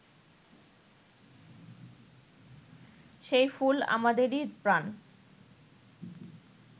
সেই ফুল আমাদেরই প্রাণ